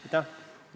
Aitäh!